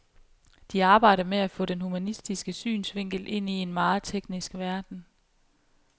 De arbejder med at få den humanistiske synsvinkel ind i en meget teknisk verden.